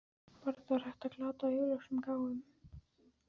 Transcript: Varla var hægt að glata augljósum gáfum?